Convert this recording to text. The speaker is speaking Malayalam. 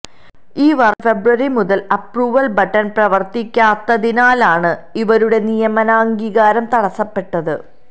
ഈ വർഷം ഫെബ്രുവരി മുതൽ അപ്രൂവൽ ബട്ടൻ പ്രവർത്തിക്കാത്തതിനാലാണ് ഇവരുടെ നിയമനാംഗീകാരം തടസ്സപ്പെട്ടത്